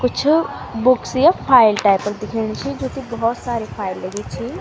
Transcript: कुछ बुक्स या file type क दिखेणी च जू की भोत सारी फाइल लगी छी।